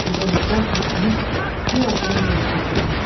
Qoca nəqqaş diksinib bir addım geri çəkildi.